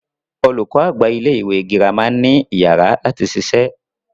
Olùkọ àgbà ilẹ ìwé gírámà ni iyàrá lati ṣiṣẹ́.